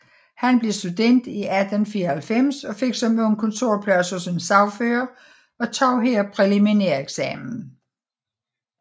Han blev student 1894 og fik som ung kontorplads hos en sagfører og tog her præliminæreksamen